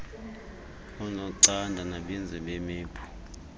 oonocanda nabenzi beemephu